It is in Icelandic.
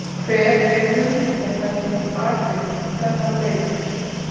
Hver er hugmyndafræðin bakvið þennan leik?